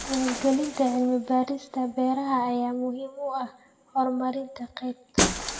Maalgelinta cilmi-baarista beeraha ayaa muhiim u ah horumarinta qaybta.